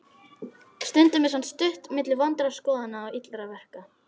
Stundum er samt stutt milli vondra skoðana og illra verka.